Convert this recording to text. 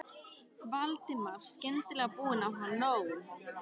Valdimar, skyndilega búinn að fá nóg.